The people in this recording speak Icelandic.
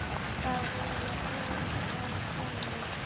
Það eru orð að sönnu.